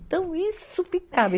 Então, isso ficava.